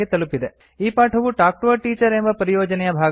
ಈ ಪಾಠವು talk to a teacher ಎಂಬ ಪರಿಯೋಜನೆಯ ಭಾಗವಾಗಿದೆ